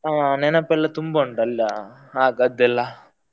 ಆ ನೆನಪೆಲ್ಲ ತುಂಬಾ ಉಂಟ ಅಲ್ಲಾ, ಆಗದ್ದೆಲ್ಲ.